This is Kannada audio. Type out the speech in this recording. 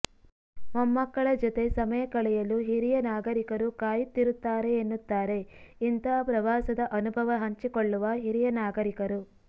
ಮೊಮ್ಮಕ್ಕಳ ಜತೆ ಸಮಯ ಕಳೆಯಲು ಹಿರಿಯ ನಾಗರಿಕರು ಕಾಯುತ್ತಿರುತ್ತಾರೆ ಎನ್ನುತ್ತಾರೆ ಇಂತಹ ಪ್ರವಾಸದ ಅನುಭವ ಹಂಚಿಕೊಳ್ಳುವ ಹಿರಿಯ ನಾಗರಿಕರು